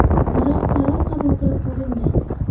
Biroq qaror qabul qilib bo‘lindi.